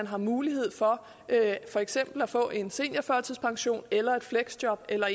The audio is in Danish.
har mulighed for for eksempel at få en seniorførtidspension eller et fleksjob eller